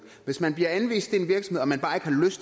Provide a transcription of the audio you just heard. hvis man bliver anvist